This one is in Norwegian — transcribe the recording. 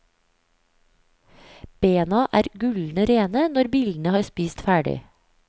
Bena er gullende rene når billene har spist ferdig.